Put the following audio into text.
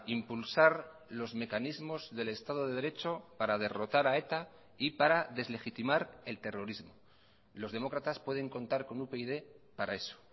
impulsar los mecanismos del estado de derecho para derrotar a eta y para deslegitimar el terrorismo los demócratas pueden contar con upyd para eso